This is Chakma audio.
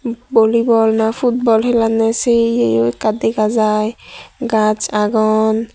bolibol na futbol helanne se yeyo ekka dega jai gach agon.